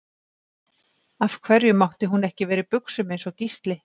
Af hverju mátti hún ekki vera í buxum eins og Gísli?